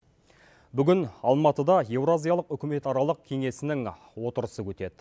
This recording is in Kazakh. бүгін алматыда еуразиялық үкіметаралық кеңесінің отырысы өтеді